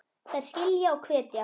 Þær skilja og hvetja.